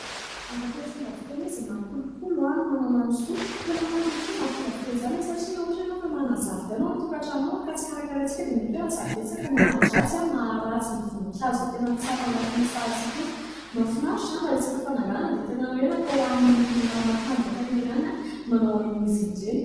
Arak'ilay fomba fiteny hoe izay mahakolokolo no manana ny soa dia tena marina tokoa izany fomba fiten' izany satria raha ohatra ianao ka manana zaridana ao an-tokatrano ao ka raha tsy karakaraintsika dia mety hoe lasa betsaka ny ahidratsy ao, maha ratsy ny voninkazo izay tena tsara ao anatin'io sahatsika io mafinaritra. Ary raha resaka fananganana dia tena natao hoan'ny lehilahy matanjaka ireny ihany manao an'izy ireny.